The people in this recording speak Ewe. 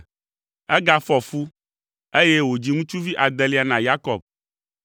Egafɔ fu, eye wòdzi ŋutsuvi adelia na Yakob.